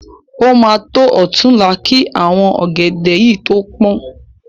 O ma tọ́ ọ̀túnla ki àwọn ọ̀gẹ̀dẹ̀ yìí tó pọ́n.